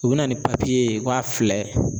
U bi na ni papiye ye k'a fila